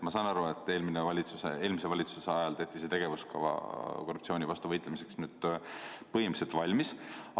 Ma saan aru, et eelmise valitsuse ajal tehti see korruptsiooni vastu võitlemise tegevuskava põhimõtteliselt valmis.